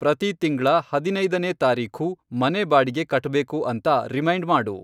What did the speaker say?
ಪ್ರತಿ ತಿಂಗ್ಳ ಹದಿನೈದನೇ ತಾರೀಖು ಮನೆ ಬಾಡಿಗೆ ಕಟ್ಟ್ಬೇಕು ಅಂತ ರಿಮೈಂಡ್ ಮಾಡು.